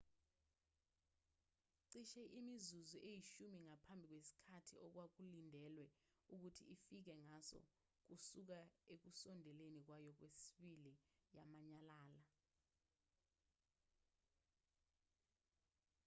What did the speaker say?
cishe imizuzu eyishumi ngaphambi kwesikhathi okwakulindelwe ukuthi ifike ngaso kusuka ekusondeleni kwayo kwesibili yanyamalala